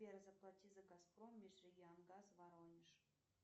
сбер заплати за газпром межрегионгаз воронеж